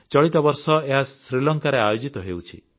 ଚଳିତ ବର୍ଷ ଏହା ଶ୍ରୀଲଙ୍କାରେ ଆୟୋଜିତ ହେଉଛି